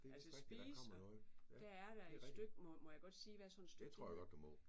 Altså spise og der er der et stykke må må jeg godt sige hvad sådan et stykke det hedder?